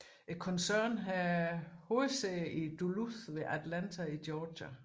Koncernen har hovedsæde i Duluth ved Atlanta i Georgia